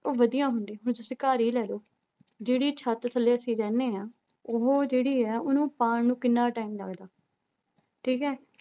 ਉਹ ਵਧੀਆ ਹੁੰਦੀ, ਹੁਣ ਤੁਸੀਂ ਘਰ ਹੀ ਲੈ ਲਓ, ਜਿਹੜੀ ਛੱਤ ਥੱਲੇ ਅਸੀਂ ਰਹਿੰਦੇ ਹਾਂ, ਉਹ ਜਿਹੜੀ ਹੈ ਉਹਨੂੰ ਪਾਉਣ ਨੂੰ ਕਿੰਨਾ time ਲੱਗਦਾ ਠੀਕ ਹੈ